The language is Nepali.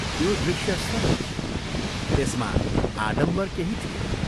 त्यो दृश्य सरल थियो, त्यसमा आडम्बर केही थिएन।